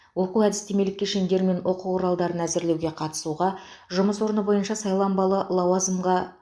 оқу әдістемелік кешендер мен оқу құралдарын әзірлеуге қатысуға жұмыс орны бойынша сайланбалы лауазымға